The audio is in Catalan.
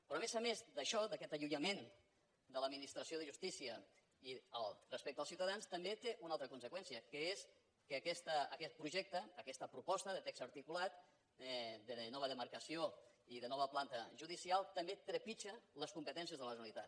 però a més a més d’això d’aquest allunyament de l’administració de justícia respecte als ciutadans també té una altra conseqüència que és que aquest projecte aquesta proposta de text articulat de nova demarcació i de nova planta judicial també trepitja les competències de la generalitat